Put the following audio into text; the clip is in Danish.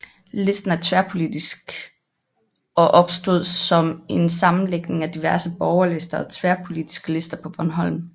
Listen er tværpolitisk og opstod som en sammenlægning af diverse borgerlister og tværpolitiske lister på Bornholm